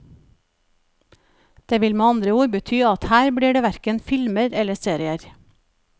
Det vil med andre ord bety at her blir det hverken filmer eller serier.